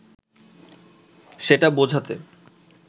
সেটা বোঝাতে